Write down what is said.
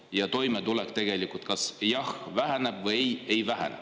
Ja ka toimetuleku kohta: jah, väheneb, või ei, ei vähene.